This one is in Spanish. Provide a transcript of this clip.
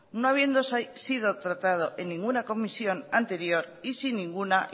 no habiendo sido tratado en ninguna comisión anterior y sin ninguna